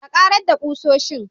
A karedda ƙusoshin